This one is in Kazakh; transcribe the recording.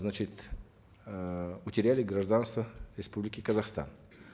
значит эээ утеряли гражданство республики казахстан